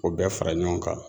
O bɛɛ fara ɲɔgɔn kan.